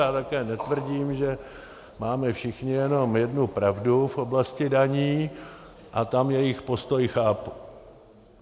Já také netvrdím, že máme všichni jenom jednu pravdu v oblasti daní, a tam jejich postoj chápu.